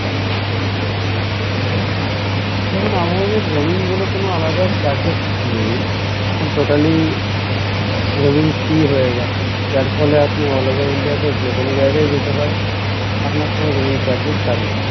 দেখুন আমাদের roaming বলে কোনো আলাদা charges নেই এখন totally roaming free হয়ে গেছে যার ফলে আপনি all over India তে যেকোনো জায়গায় জেতে পারেন আপনার কোনো roaming charges কাটবে না